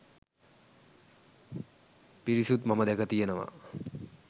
පිරිසුත් මම දැක තියනවා.